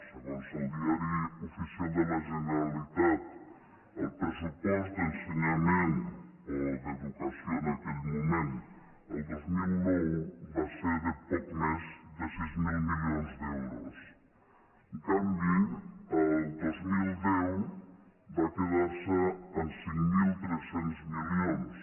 segons el diari oficial de la generalitatd’ensenyament o d’educació en aquell moment del dos mil nou va ser de poc més de sis mil milions d’euros en canvi el dos mil deu va quedar se en cinc mil tres cents milions